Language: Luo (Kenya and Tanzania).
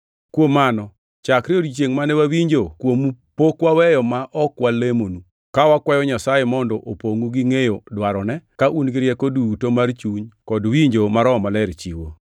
Kuom mano, chakre odiechiengʼ mane wawinjo kuomu pok waweyo ma ok walamonu ka wakwayo Nyasaye mondo opongʼu gi ngʼeyo dwarone, ka un gi rieko duto mar chuny kod winjo ma Roho Maler chiwo.